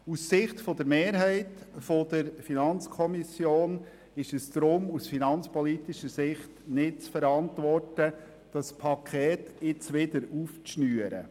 Die Mehrheit der FiKo ist deshalb der Meinung, es sei aus finanzpolitischer Sicht nicht zu verantworten, das Paket jetzt wieder aufzuschnüren.